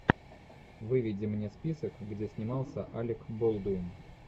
выведи мне список где снимался алик болдуин